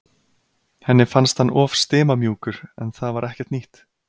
Henni fannst hann of stimamjúkur en það var ekkert nýtt.